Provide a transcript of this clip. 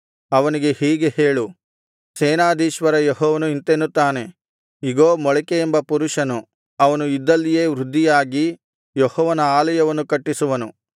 ಅವನಿಗೆ ಹೀಗೆ ಹೇಳು ಸೇನಾಧೀಶ್ವರ ಯೆಹೋವನು ಇಂತೆನ್ನುತ್ತಾನೆ ಇಗೋ ಮೊಳಿಕೆಯೆಂಬ ಪುರುಷನು ಅವನು ಇದ್ದಲ್ಲಿಯೇ ವೃದ್ಧಿಯಾಗಿ ಯೆಹೋವನ ಆಲಯವನ್ನು ಕಟ್ಟಿಸುವನು